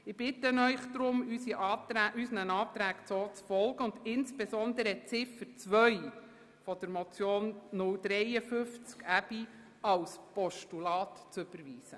Ich bitte Sie deshalb, unseren Anträgen so zu folgen, und insbesondere Ziffer 2 der Motion 053-2017 von Grossrat Aebi als Postulat zu überweisen.